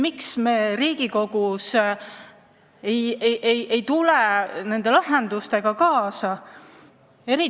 Miks me Riigikogus ei lähe nende lahendustega kaasa?